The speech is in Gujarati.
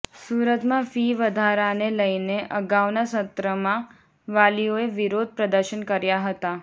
સુરતમાં ફી વધારાને લઈને અગાઉના સત્રમાં વાલીઓએ વિરોધ પ્રદર્શન કર્યા હતાં